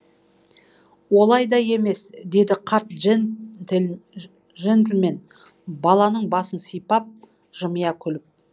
олай да емес деді қарт жентльмен баланың басынан сипап жымия күліп